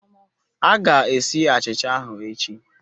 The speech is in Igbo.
A ga-esi achicha ahụ echi